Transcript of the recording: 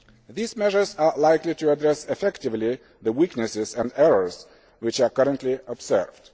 These measures are likely to address effectively the weaknesses and errors which are currently observed.